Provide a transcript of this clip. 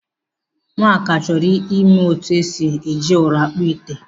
Nwaka chọrọ ịmụ etu esi eji ụrụ akpụ ite.